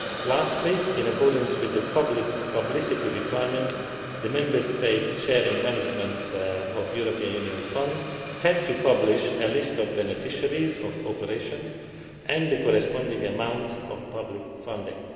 Lastly, in accordance with the publicity requirements, Member States sharing management of European Union funds have to publish a list of beneficiaries of operations and the corresponding amounts of public funding.